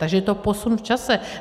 Takže je to posun v čase.